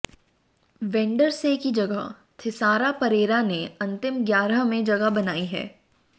वेंडरसे की जगह थिसारा परेरा ने अंतिम ग्यारह में जगह बनाई है